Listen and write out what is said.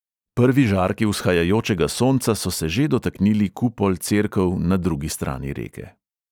Prvi žarki vzhajajočega sonca so se že dotaknili kupol cerkev na drugi strani reke.